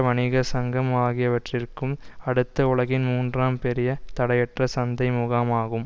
வணிக சங்கம் ஆகியவற்றிற்கும் அடுத்து உலகின் மூன்றாம் பெரிய தடையற்ற சந்தை முகாம் ஆகும்